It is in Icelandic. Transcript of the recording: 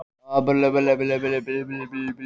Dórótea, hvernig er dagskráin í dag?